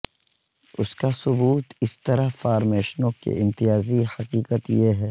اس کا ثبوت اس طرح فارمیشنوں کے امتیازی کہ حقیقت یہ ہے